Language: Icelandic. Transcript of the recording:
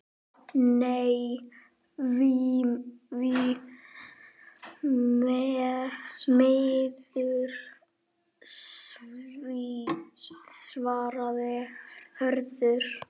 Nei, því miður svarar Hörður.